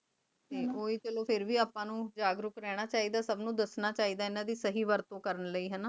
ਤੇ ਓਹੀ ਮਤਲਬ ਫੇਰ ਵੀ ਆਪਾਂ ਨੂ ਜਾਗਰੂਕ ਰਹਨਾ ਚੀ ਦਾ ਸਬਾ ਨੂ ਦਸਣਾ ਚੀ ਦ ਇਨਾਂ ਦੀ ਸਹੀ ਵਰਤੁ ਕਰਨ ਲੈ